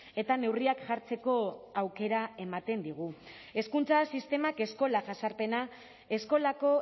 eta neurriak jartzeko aukera ematen digu hezkuntza sistemak eskola jazarpena eskolako